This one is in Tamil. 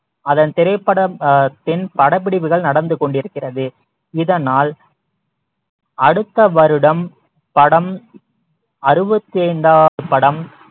அதன் திரைப்படம் ஆஹ் பின் படப்பிடிப்புகள் நடந்து கொண்டிருக்கிறது இதனால் அடுத்த வருடம் படம் அறுபத்தி ஐந்தாவது படம்